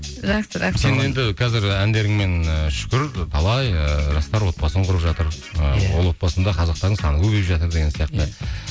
сен енді қазір әндеріңмен ы шүкір талай ыыы жастар отбасын құрып жатыр ол отбасында қазақтардың саны көбейіп жатыр деген сияқты